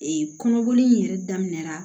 kɔnɔboli in yɛrɛ daminɛra